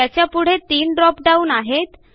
त्याच्या पुढे तीन ड्रॉपडाऊन आहेत